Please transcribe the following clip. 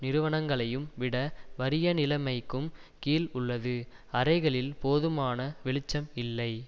நிறுவனங்களையும் விட வறிய நிலமைக்கும் கிழ் உள்ளது அறைகளில் போதுமான வெளிச்சம் இல்லை